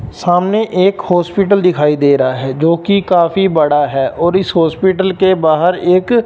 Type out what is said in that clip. सामने एक हॉस्पिटल दिखाई दे रहा है जो कि काफी बड़ा है और इस हॉस्पिटल के बाहर एक--